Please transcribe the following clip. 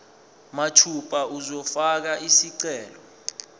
mathupha uzofaka isicelo